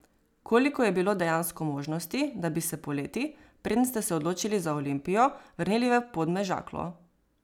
Koliko je bilo dejansko možnosti, da bi se poleti, preden ste se odločili za Olimpijo, vrnili v Podmežaklo?